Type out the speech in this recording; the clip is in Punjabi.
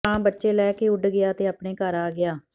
ਕਾਂ ਬੱਚੇ ਲੈ ਕੇ ਉਡ ਗਿਆ ਅਤੇ ਆਪਣੇ ਘਰ ਆ ਗਿਆ